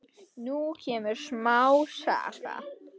Nú kemur smá saga.